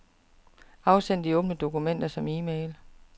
Afsend de åbne dokumenter som e-mail.